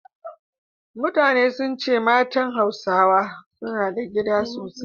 Mutane sun ce matan Hausawa suna da gida sosai